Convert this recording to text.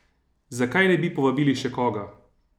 Zakaj ne bi povabili še koga?